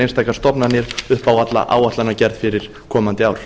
einstakar stofnanir upp á alla áætlanagerð fyrir komandi ár